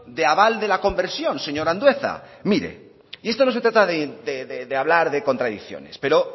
de aval de la conversión señor andueza mire y esto no se trata de hablar de contradicciones pero